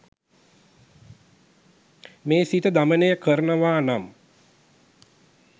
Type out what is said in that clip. මේ සිත දමනය කරනවා නම්